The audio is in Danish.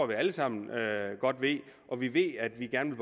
vi alle sammen godt ved og vi ved at vi gerne